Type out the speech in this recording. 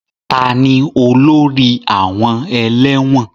Tani olórí àwọn ẹlẹ́wọ̀n?